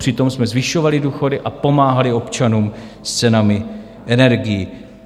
Přitom jsme zvyšovali důchody a pomáhali občanům s cenami energií.